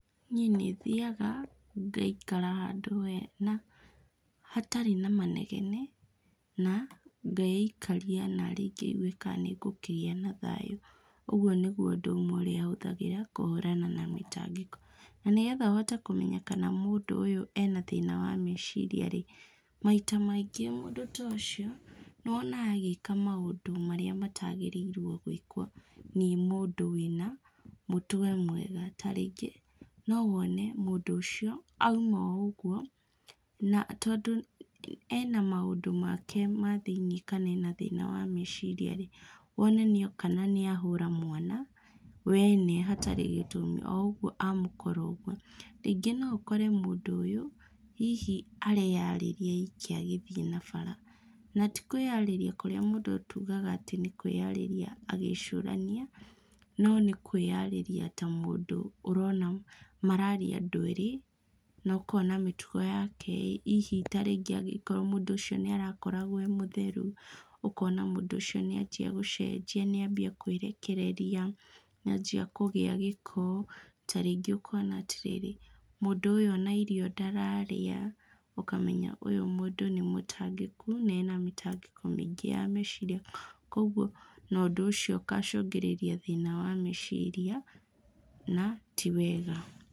Niĩ nĩthia ngaikara handũ hena, hatarĩ na manegene, na ngeikaria narĩ ngĩigue kana nĩngũkĩgĩa nathayũ. Ũguo núĩguo ũndũ ũmwe hũthagĩra kũhũrana na mĩtangĩko. Na nĩgetha ũhote kũmenya kana mũndũ ũyũ ena mathĩna ma meciria-rĩ, maita maingĩ mũndũ ta ũcio nĩwonaga agĩka maũndũ marĩa matagĩrĩirwo nĩ mũndũ wĩna mũtwe mwega. Ta rĩngĩ, no wone mũndũ ũcio auma o ũguo na tondũ ena maũndũ make ma thĩiniĩ kana ena mathĩna ma meciria-rĩ, wone nĩ oka na nĩ ahũra mwana wene hatarĩ gĩtũmi o ũguo a mũkora ũguo. Rĩngĩ no ũkore mũndũ ũyũ, hihi areyarĩria e iki agĩthiĩ na bara na tĩ kwĩarĩria kũrĩa tugaga atĩ mũndũ nĩ kwarĩria agĩcũrania no nĩkwĩarĩria ta mũndũ ũrona mararia andũ erĩ na ũkona mĩtugo yake hihi ta rĩngĩ mũndũ ũcio nĩ arakoragwo e mũtheru, ũkona mũndũ ũcio nĩ anjĩa gũcenjia, nĩ ambia kwĩrekereria, nĩ anjia kũgĩa gĩko, ta rĩngĩ ũkona atĩrĩrĩ, mũndũ ũyũ ona irio ndararĩa, ũkamenya ũyũ mũndũ nĩ mũtangĩku, nena mĩtangĩko mĩingĩ ya meciria, kũoguo na ũndũ ũcio ũgacũngĩrĩria thina wa meciria na tiwega.